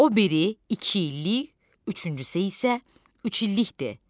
O biri iki illik, üçüncüsü isə üç illikdir.